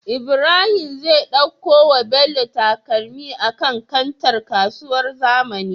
Ibrahim zai ɗauko wa bello takalmi a kan kantar kasuwar zamani